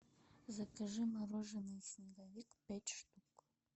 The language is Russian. закажи мороженое снеговик пять штук